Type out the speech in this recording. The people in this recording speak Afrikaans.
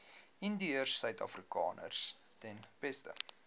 indiërsuidafrikaners ten beste